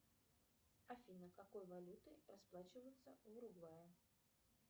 афина какой валютой расплачиваются в уругвае